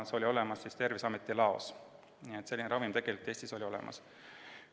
See oli Terviseameti laos olemas, selline ravim oli Eestis olemas.